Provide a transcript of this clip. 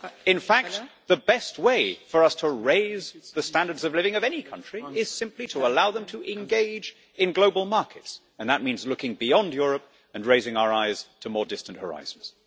In fact, the best way for us to raise the standards of living of any country is simply to allow them to engage in global markets, and that means looking beyond Europe and raising our eyes to more distant horizons.